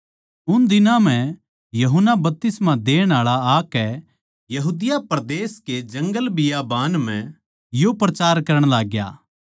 उन दिनां म्ह यूहन्ना बपतिस्मा देण आळा आकै यहूदिया परदेस के जंगलबियाबान म्ह यो प्रचार करण लाग्या